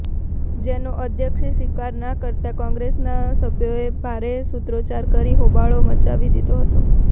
જેનો અધ્યક્ષે સ્વીકાર ના કરતાં કોંગ્રેસના સભ્યોએ ભારે સૂત્રોચ્ચાર કરી હોબાળો મચાવી દીધો હતો